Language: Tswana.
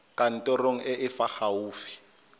kantorong e e fa gaufi